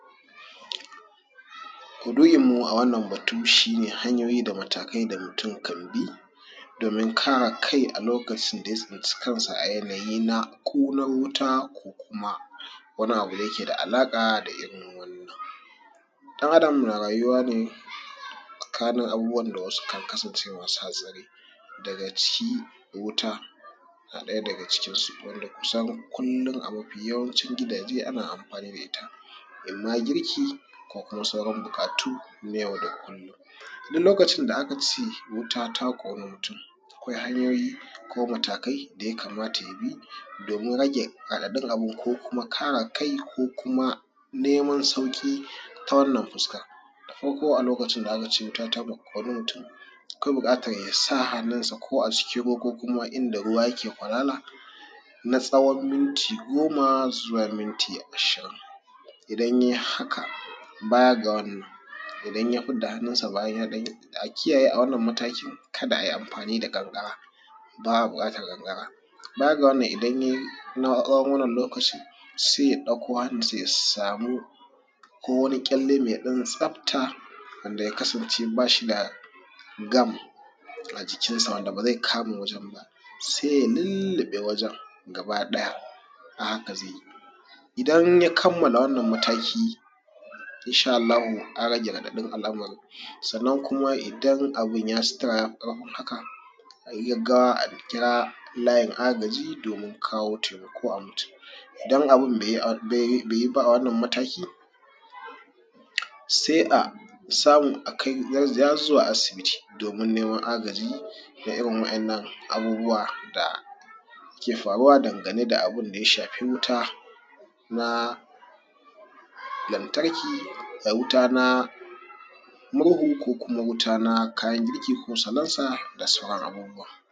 Maudu’in mu a wannan batu shi ne hanyoyi da matakai da mutum kan bi domin kare kai a lokacin da ya tsinci kan sa a yanayi na ƙunar wuta ko kuma wani abu da yake da alaƙa da irin wannan. Ɗan’adam na rayuwa ne tsakanin abubuwan da sukan kasance masu hatsari daga ciki wuta na ɗaya daga cikinsu, wanda kusan kullum a mafi yawancin gidaje ana amfani da ita, inma girki ko kuma sauran buƙatu na yau da kullum. Duk lokacin da aka ce wuta ta ƙoni mutum, akwai hanyoyi ko matakai da ya kamata ya bi domin rage raɗaɗin abin ko kuma kare kai ko kuma neman sauƙi ta wannan fuskar. Da farko a lokacin da aka ce wuta ta ƙoni mutum akwai buƙatan ya sa hannunsa ko acikin ruwa ko a inda ruwa ruwa yake kwarara na tsawon minti goma zuwa minti ashirin. Idan ya yi haka baya ga wannan, idan ya fidda hannunsa bayan ya ɗan yi, a kiyaye a wannan matakin ka da a yi amfani da ƙanƙara ba a buƙatar ƙanƙara. Baya ga wannan idan ya yin a tsawon wannan lokacin sai ya ɗauko hannun sai ya samo ko wani ɗan ƙyalle mai ɗan tsafta wanda ya kasance ba shi da gum a jikinsa wanda ba zai kama wajen ba, sai ya lulluɓe wajen gaba ɗaya a haka zai yi. Idan ya kammala wannan mataki, insha Allahu an rage raɗaɗin al’amarin. Sannan kuma idan abun ya ci tura ya fi ƙarfin haka, a yi gaggawa a kira layin agaji domin kawo taimako ga mutum, idan abun bai bai yi ba a wannan mataki sai a samu a kai zuwa asibiti domin neman agaji ga irin wa’innan abubuwa dake faruwa dangane da ya shafi wuta na lantarki da wuta na murhu ko kuma wuta na kayan girki ko na salansa da sauran abubuwa.